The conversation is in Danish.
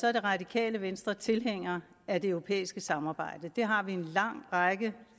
er det radikale venstre tilhænger af det europæiske samarbejde det har vi en lang række